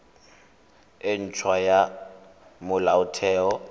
e nt hwa ya molaotheo